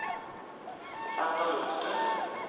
Sander Lothe